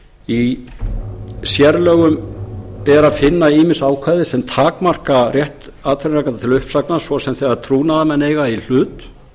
í sérlögum er að finna ýmis ákvæði sem takmarka rétt atvinnurekanda til uppsagnar svo sem þegar trúnaðarmenn eiga í hlut